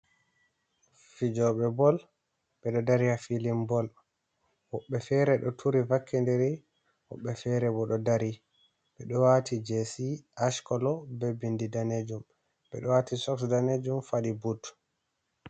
Fijoɓe bol ɓeɗo dari ha filin bol woɓɓe fere ɗo turi vakkidiri woɓɓe fere bo ɗo dari ɓeɗo wati jesi ashkolo be bindi danejum ɓeɗo wati soks danejum faɗi but.